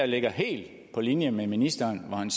ligger helt på linje med ministeren